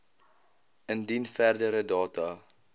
indien verdere data